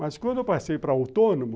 Mas quando eu passei para autônomo,